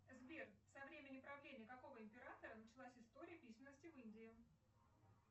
сбер со времени правления какого императора началась история письменности в индии